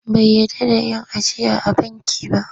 Bai yarda da yin ajiya a banki ba..